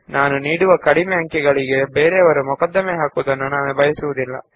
ಏಕೆಂದರೆ ಕಡಿಮೆ ಅಂಕಗಳನ್ನು ನೀಡಿದ್ದಕ್ಕೆ ಯಾರಾದರೂ ನನ್ನನ್ನು ಆರೋಪಿಸುವುದು ನನಗೆ ಇಷ್ಟವಿಲ್ಲ